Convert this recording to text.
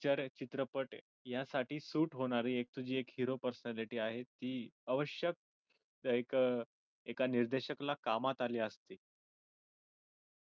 कारण चित्रपट यासाठी सूट होणारी एक तुझी एक hero personality आहे ती आवश्यक like a एका निर्देशक ला कामात आली असती